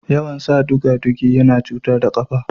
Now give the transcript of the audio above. Yawan san duga-dugu yana iya cutar da ƙafa